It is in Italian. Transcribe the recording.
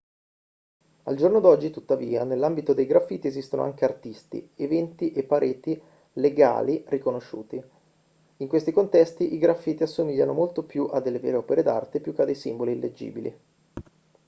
al giorno d'oggi tuttavia nell'ambito dei graffiti esistono anche artisti eventi e pareti legali riconosciuti in questi contesti i graffiti assomigliano molto di più a delle vere opere d'arte più che a dei simboli illeggibili